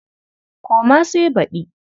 Koma sai baɗi.